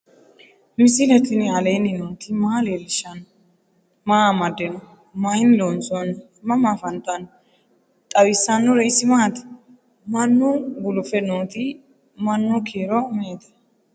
misile tini alenni nooti maa leelishanni noo? maa amadinno? Maayinni loonisoonni? mama affanttanno? xawisanori isi maati? mannu gulufe noti manu kiiro me"ete